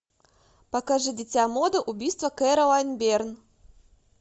покажи дитя моды убийство кэролайн берн